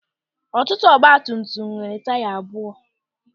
Ọtụtụ ọgbatumtum nwere taya abụọ.